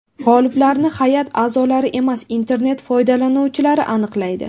G‘oliblarni hay’at a’zolari emas, internet foydalanuvchilari aniqlaydi.